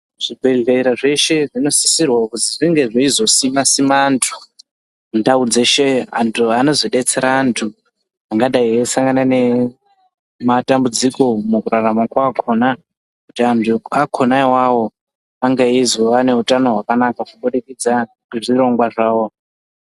Zvibhedhlera zveshe zvinosisirwa kuzi zvinge zveizosima-sima antu mundau dzeshe. Antu anozobetsera antu angadai eisangana nematambudziko mukurarama kwakona. Kuti antu akona avavo ange eizova neutano hwakanaka kubudikidza nezvirongwa zvavo.